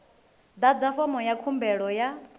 ḓadza fomo ya khumbelo ya